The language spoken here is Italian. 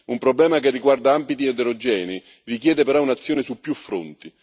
Un problema che riguarda ambiti eterogenei richiede però un'azione su più fronti.